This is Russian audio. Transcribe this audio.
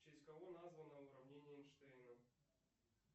в честь кого названо уравнение эйнштейна